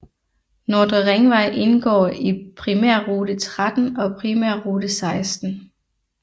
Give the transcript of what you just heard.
Nordre Ringvej indgår i Primærrute 13 og Primærrute 16